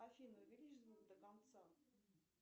афина увеличь звук до конца